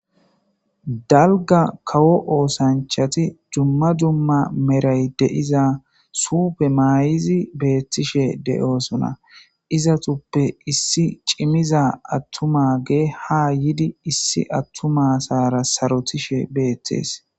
Dalgga kawo oosanchchat dumma dumma medhay de7iza suufe mayidi beetoosona izetupe issi cimmida atuma asara sarotishe beetes.